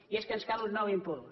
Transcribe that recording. i és que ens cal un nou impuls